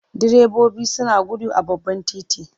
Direbobi suna gudu a babban titi.